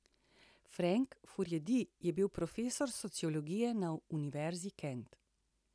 Frank Furedi je bil profesor sociologije na Univerzi Kent.